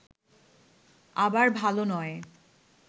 আবার ভাল নয়